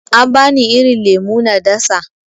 An bani irin lemo na dasa.